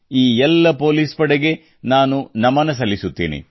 ಈ ಎಲ್ಲ ಪೋಲಿಸ್ ಪಡೆಗೆ ನಾನು ನಮನ ಸಲ್ಲಿಸುತ್ತೇನೆ